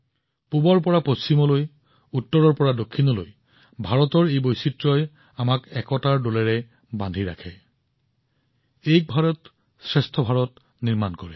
পূবৰ পৰা পশ্চিমলৈ উত্তৰৰ পৰা দক্ষিণলৈ এই বৈচিত্ৰ্যই ভাৰতক ঐক্যবদ্ধ কৰি ৰাখে যাৰ ফলত ই এক ভাৰত শ্ৰেষ্ঠ ভাৰত হৈ পৰে